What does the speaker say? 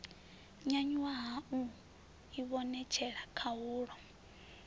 nyanyuwa ha u ivhonetshela khahulo